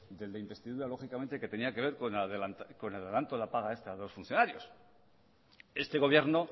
de la investidura lógicamente que tenía que ver con el adelanto de la paga extra de los funcionarios este gobierno